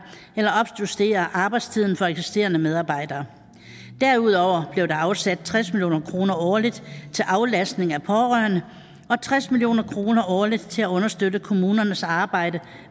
eller opjustere arbejdstiden for eksisterende medarbejdere derudover blev der afsat tres million kroner årligt til aflastning af pårørende og tres million kroner årligt til at understøtte kommunernes arbejde